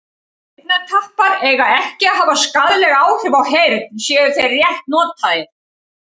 eyrnatappar eiga ekki að hafa skaðleg áhrif á heyrn séu þeir rétt notaðir